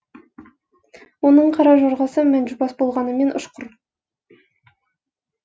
оның қара жорғасы мәнжубас болғанымен ұшқыр